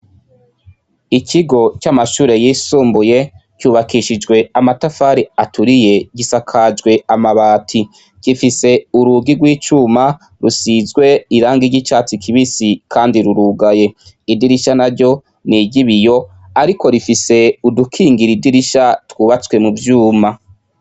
Ikigo c'amashure yisumbuye cubakishijwe amatafari aturiye gisakajwe amabati, gifise urugi rw'icuma ,rusizwe irangi c'icatsi kibisi kandi rurugaye, idirisha naryo niry'ibiyo ariko rifise udukingir'idirisha twubatswe muvyuma.